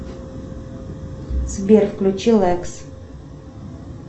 сбер включи лекс